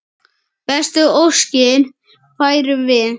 Bestu óskir færum við.